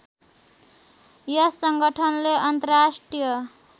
यस संगठनले अन्तर्राष्ट्रिय